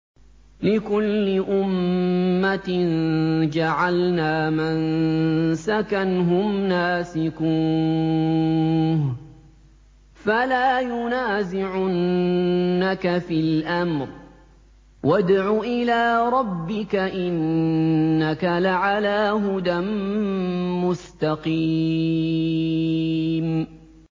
لِّكُلِّ أُمَّةٍ جَعَلْنَا مَنسَكًا هُمْ نَاسِكُوهُ ۖ فَلَا يُنَازِعُنَّكَ فِي الْأَمْرِ ۚ وَادْعُ إِلَىٰ رَبِّكَ ۖ إِنَّكَ لَعَلَىٰ هُدًى مُّسْتَقِيمٍ